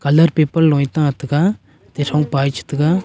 colour paper lung nge ta tega atey thongpa ye che tega.